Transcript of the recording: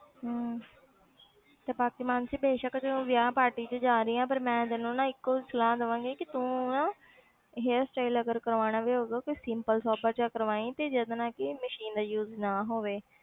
ਹਮ ਤੇ ਬਾਕੀ ਮਾਨਸੀ ਬੇਸ਼ਕ ਤੂੰ ਵਿਆਹ party 'ਚ ਜਾ ਰਹੀ ਹੈ ਪਰ ਮੈਂ ਤੈਨੂੰ ਇੱਕੋ ਹੀ ਸਲਾਹ ਦੇਵਾਂਗੀ ਕਿ ਤੂੰ ਨਾ hairstyle ਅਗਰ ਕਰਵਾਉਣਾ ਵੀ ਹੋਊਗਾ ਕੋਈ simple ਸਾਂਪਲ ਜਿਹਾ ਕਰਵਾਈ ਤੇ ਜਿਹਦੇ ਨਾਲ ਕਿ machine ਦਾ use ਨਾ ਹੋਵੇ।